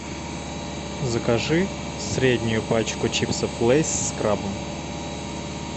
закажи среднюю пачку чипсов лейс с крабом